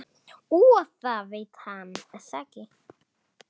Og það veit hann.